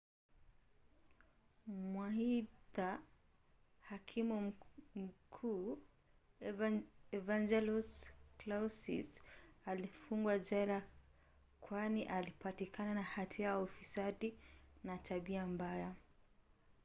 waaidha hakimu mkuu evangelos kalousis alifungwa jela kwani alipatikana na hatia ya ufisadi na tabia mbaya